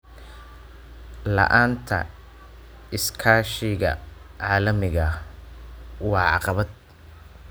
La'aanta iskaashiga caalamiga ah waa caqabad.